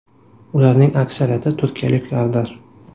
Ularning aksariyati turkiyaliklardir.